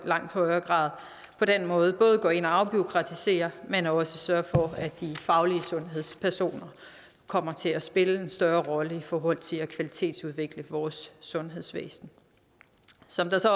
langt højere grad på den måde både går ind og afbureaukratiserer men også sørger for at de faglige sundhedspersoner kommer til at spille en større rolle i forhold til at kvalitetsudvikle vores sundhedsvæsen som det så